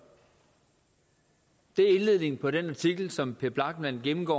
det er indledningen på den artikel som per lachmann gennemgår